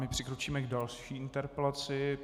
My přikročíme k další interpelaci.